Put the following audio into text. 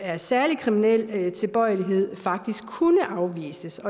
af særlig kriminel tilbøjelighed faktisk kunne udvises